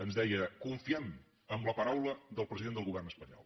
ens deia confiem en la paraula del president del govern espanyol